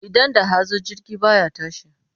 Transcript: Idan da hazo jirgi ba ya tashi.